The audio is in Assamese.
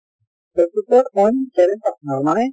forty four point seven percent হʼল মানে